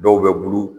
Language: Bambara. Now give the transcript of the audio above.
Dɔw bɛ bulu